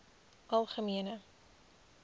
algemene